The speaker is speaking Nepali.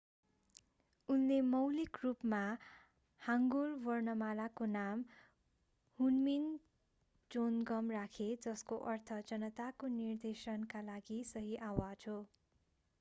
उनले मौलिक रूपमा हाङ्गुल वर्णमालाको नाम हुनमिन जोनगम राखे जसको अर्थ जनताको निर्देशनका लागि सही आवाज हो